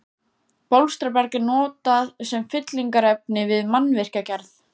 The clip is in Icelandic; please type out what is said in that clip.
Bólstraberg er notað sem fyllingarefni við mannvirkjagerð.